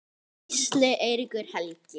Gísli Eiríkur Helgi.